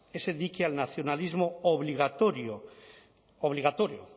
ese dique al nacionalismo obligatorio obligatorio